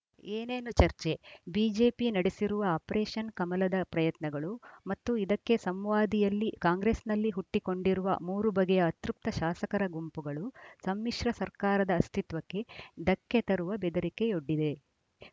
ಏನೇನು ಚರ್ಚೆ ಬಿಜೆಪಿ ನಡೆಸಿರುವ ಆಪರೇಷನ್‌ ಕಮಲದ ಪ್ರಯತ್ನಗಳು ಮತ್ತು ಇದಕ್ಕೆ ಸಂವಾದಿಯಲ್ಲಿ ಕಾಂಗ್ರೆಸ್‌ನಲ್ಲಿ ಹುಟ್ಟಿಕೊಂಡಿರುವ ಮೂರು ಬಗೆಯ ಅತೃಪ್ತ ಶಾಸಕರ ಗುಂಪುಗಳು ಸಮ್ಮಿಶ್ರ ಸರ್ಕಾರದ ಅಸ್ತಿತ್ವಕ್ಕೆ ಧಕ್ಕೆ ತರುವ ಬೆದರಿಕೆಯೊಡ್ಡಿವೆ